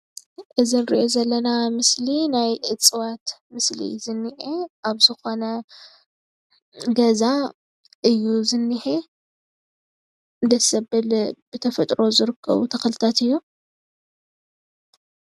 እዚ ንሪኦ ዘለና ምስሊ ናይ እፅዋት ምስሊ እዩ ዝኔሄ ኣብ ዝኮነ ገዛ እዩ ዝኔሄ ደስ ዘብል ብተፈጥሮ ዝርከቡ ተኽልታት እዮም።